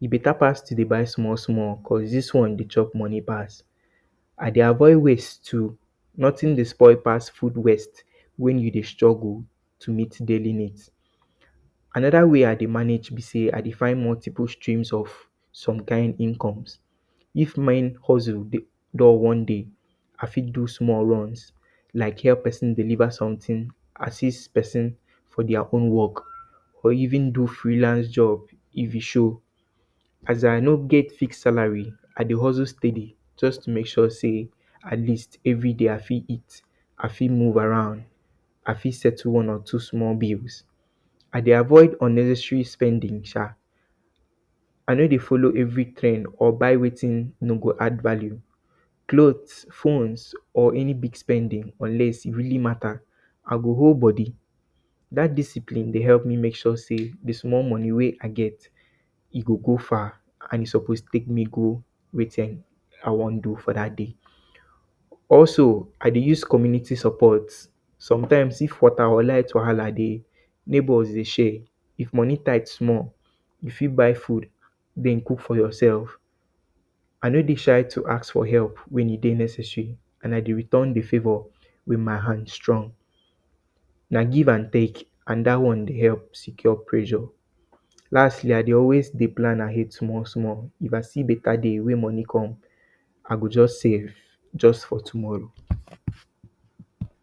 E beta pass to dey buy small, small because dis one dey chop moni pass. I dey avoid waste too. Notin dey spoil pass food waste wey you dey struggle to meet daily nids. Anoda way I dey manage be say I dey find multiple streams of some kind incomes. If main hustle dey dull one day, I fit do small runs like help pesin deliver sometin, assist pesin for dia own work or even do freelance job if e show. As I no get free salary, I dey hustle steady to mek sure say at least, everyday, I fit move around, I fit settle one or two small bills. I dey avoid unnecessary spending sha. I no go follow every trend or buy wetin no go add value. Clothes, phones, or any big spending unless really mata, I go hold body. Dat discipline dey help me mek sure say di small moni wey I get, e go go far and e suppose pick me go wetin I wan do for dat day. Also, I dey use community support, sometimes, if water or light wahala dey, neighbours dey share, if moni tight small, you fit buy food, den, cook for yourself. I no dey shy to ask for help wen e dey necessary and I dey return di favour wen my hand strong. Na give and tek and dat one dey help secure pressure. Lastly, I dey always dey plan ahead small, small, you can see beta day wen moni come, I go just save just for tomorrow.